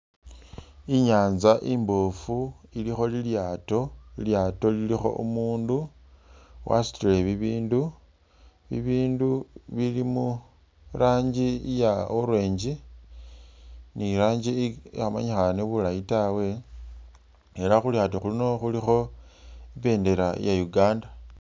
I'nyanza i'mboofu ilikho lilyaato, lilyaato lilikho umundu wasutile bibindu, bibindu bili murangi iya. orange ni rangi ikhamanyikhane bulaye tawe, ela khulyaato khuno khulikho i'bindela iya Uganda